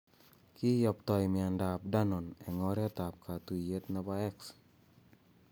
Kiyoptoi miondop danon eng' oretab katuiyet nebo x